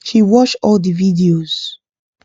she watch all the videos